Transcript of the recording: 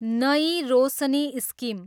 नयी रोशनी स्किम